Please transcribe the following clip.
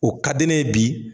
O ka di ne ye bi